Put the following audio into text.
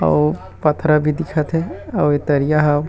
अऊ पथरा भी दिखत हे अऊ ए तरिया ह।